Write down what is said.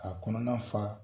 A kɔnɔna fa